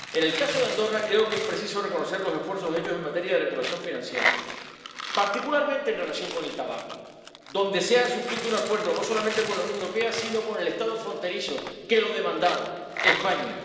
En el caso de Andorra, creo que es preciso reconocer los esfuerzos hechos en materia de regulación financiera, particularmente en relación con el tabaco, ámbito en el que se ha suscrito un acuerdo no solamente con la Unión Europea, sino con el Estado fronterizo que lo demandaba, España.